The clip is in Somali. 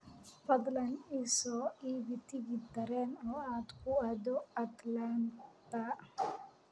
fadlan ii soo iibi tigidh tareen oo aad ku aado Atlanta